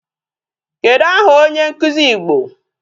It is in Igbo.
Kedụ aha onye nkụzi Igbo?